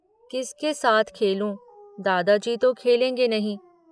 किसके साथ खेलूं, दादाजी तो खेलेंगे नहीं।